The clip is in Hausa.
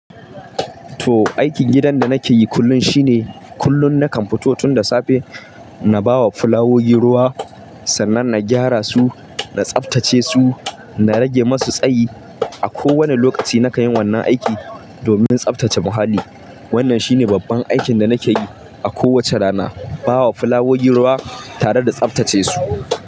To, aikin gidan da nake yi kullum shine, kullum nakan fito tun da safe na ba wa fulawogi ruwa, sannan na gyara su, na tsaftace su, na rage masu tsayi. A kowane lokaci na kayi wannan aiki, domin tsaftace muhalli. Wannan shine babban aikin da nake yi, a kowace rana, ba wa fulawoyi ruwa, tare da tsaftace su.